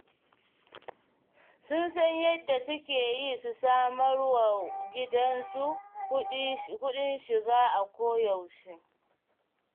Sun san yadda suke yi su samawar gidansu kuɗin shiga a koyaushe.